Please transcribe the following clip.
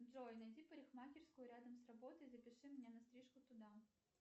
джой найди парикмахерскую рядом с работой запиши меня на стрижку туда